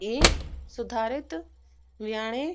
हे सुधारित व्याने